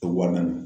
Wa naani